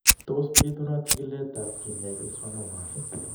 Tos bitunat chikiletab keneyeek en schwannomas?